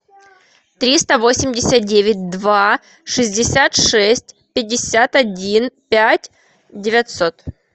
триста восемьдесят девять два шестьдесят шесть пятьдесят один пять девятьсот